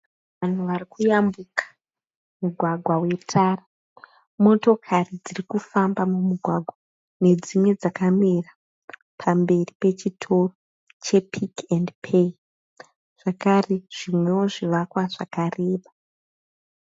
Vanhu varikuyambuka mugwagwa wetara. Motokari dzirikufamba mumugwagwa nedzimwe dzakamira pamberi pechitoro che Pick and Pay zvakare zvimwewo zvivakwa zvakareba.